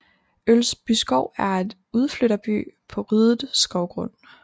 Ølsbyskov er en udflytterby på ryddet skovgrund